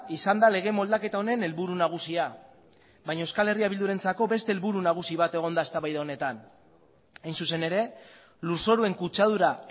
izan da lege moldaketa honen helburu nagusia baina euskal herria bildurentzako beste helburu nagusi bat egon da eztabaida honetan hain zuzen ere lurzoruen kutsadura